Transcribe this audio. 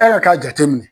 E yɛrɛ k'a jateminɛ